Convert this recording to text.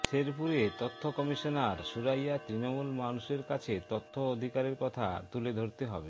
শেরপুরে তথ্য কমিশনার সুরাইয়া তৃণমূল মানুষের কাছে তথ্য অধিকারের কথা তুলে ধরতে হবে